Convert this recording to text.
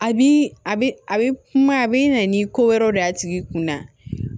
A bi a bi a bi kuma a bi na ni ko wɛrɛw de y'a tigi kun na